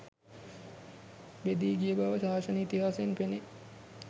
බෙදී ගිය බව ශාසන ඉතිහාසයෙන් පෙනේ.